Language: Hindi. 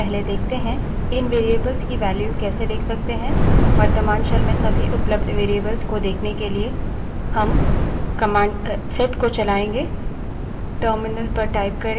जबकि इस tutorial में हम मुख्य रूप से environment variables के बारे में बात करेंगे पहले देखते हैं कि इन variables की value कैसे let सकते हैं